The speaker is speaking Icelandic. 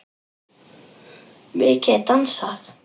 Mikið dansað.